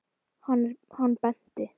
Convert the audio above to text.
Hann benti.